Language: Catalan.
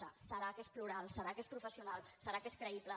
deu ser que és plural deu ser que és professional deu ser que és creïble